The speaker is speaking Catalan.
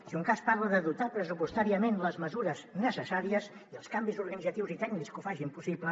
si de cas parla de dotar pressupostàriament les mesures necessàries i els canvis organitzatius i tècnics que ho facin possible